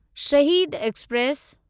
शहीद एक्सप्रेस